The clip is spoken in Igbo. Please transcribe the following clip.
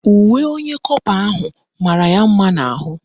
Uwe onye kọpa ahụ mara ya mma n'ahụ